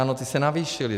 Ano, ty se navýšily.